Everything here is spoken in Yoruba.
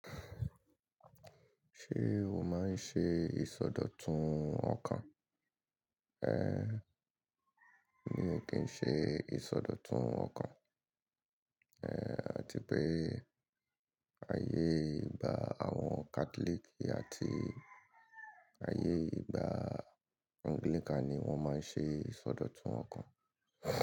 Ṣé o máa ń ṣe ìsọdọ̀tun ọkàn? Ehn, mi ò kí ń ṣe ìsọdọ̀tun ọkàn. Àti pé ayé ìgbà àwọn Catholic àti ayé ìgbà Anglican ni wọ́n máa ń ṣe ìsọdọ̀tun ọkàn.